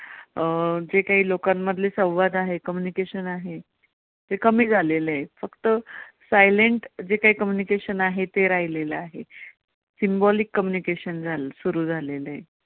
अं जे कांही लोकांमधले संवाद आहेत communication आहे. ते कमी झालेलं आहे फक्त silent जे कांही communication आहे ते राहिलेलं आहे. symbolic communication सुरू झालेलं आहे.